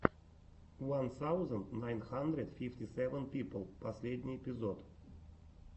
ван саузенд найн хандрэд фифти сэвэн пипл последний эпизод